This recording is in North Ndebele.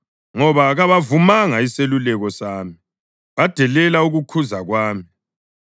ngoba kabavumanga iseluleko sami, badelela ukukhuza kwami,